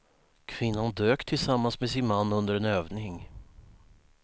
Kvinnan dök tillsammans med sin man under en övning.